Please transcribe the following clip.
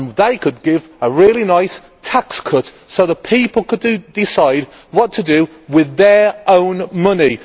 They could then give a really nice tax cut so that people could decide what to do with their own money.